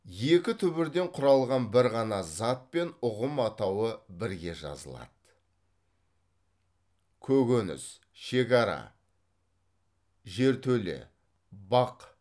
екі түбірден құралған бір ғана зат пен ұғым атауы бірге жазылады көкөніс шекара жертөле бақ